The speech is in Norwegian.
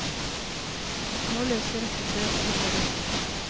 Nå løser rekken seg opp og vi ser dem.